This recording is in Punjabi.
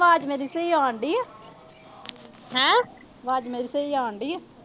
ਵਾਜ ਮੇਰੀ ਸਹੀ ਆਉਣ ਡਈ ਆ। ਵਾਜ ਮੇਰੀ ਸਹੀ ਆਉਣ ਡਈ ਆ।